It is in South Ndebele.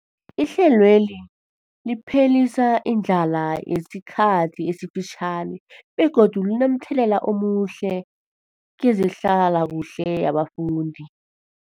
Ihlelweli liphelisa indlala yesikhathi esifitjhani begodu linomthelela omuhle kezehlalakuhle yabafundi.